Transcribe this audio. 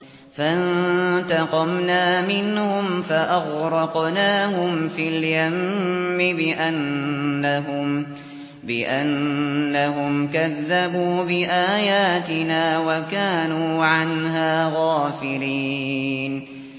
فَانتَقَمْنَا مِنْهُمْ فَأَغْرَقْنَاهُمْ فِي الْيَمِّ بِأَنَّهُمْ كَذَّبُوا بِآيَاتِنَا وَكَانُوا عَنْهَا غَافِلِينَ